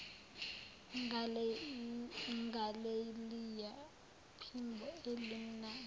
ngaleliya phimbo elimnandi